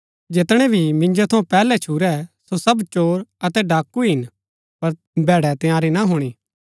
जैतनै भी मिन्जो थऊँ पैहलै छुरै सो सब चोर अतै डाकू हिन पर भैड़ै तंयारी ना हुणी